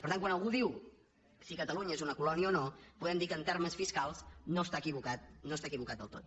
per tant quan algú diu si catalunya és una colònia o no podem dir que en termes fiscals no està equivocat no està equivocat del tot